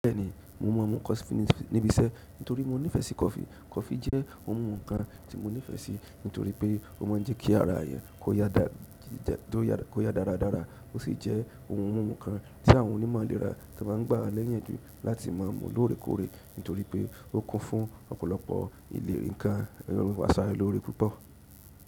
Bẹ́ẹ̀ni, mo maa n mu kọfí níbi iṣẹ́ nítorí mo nífẹ̀ẹ́ sí kọfí. Kọfí jẹ́ ohun mímu kan tí mo nífẹ̀ẹ́ sí nítorí pé ó máa ń jẹ́ kí ara èyàn kó yá dáradára ó sì jẹ́ ohun mímu kan tí àwọn onímọ̀ ilèra tí wọ́n maá ń gbà wá niyanju láti má a mú lóore kóóre nítorí pé ó kún fún ọ̀pọ̀lọpọ̀ ìlérí-- ǹkan àṣaralóore púpọ̀.